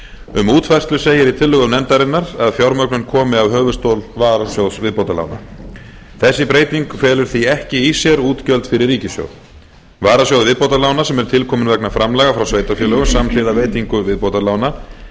um útfærslu segir í tillögum nefndarinnar að fjármögnun komi af höfuðstól varasjóðs viðbótarlána þessi breyting felur því ekki í sér útgjöld fyrir ríkissjóð varasjóður viðbótarlána sem er tilkominn vegna framlaga frá sveitarfélögum samhliða veitingu viðbótarlána